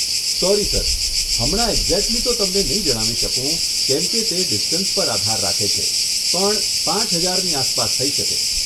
Sorry sir, હમણાં exactly તો તમને નહીં જણાવી શકું કેમ કે તે ડિસ્ટન્સ પર આધાર રાખે છે પણ પાંચ હજારની આસપાસ થઈ શકે.